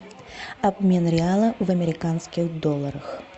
обмен реала в американских долларах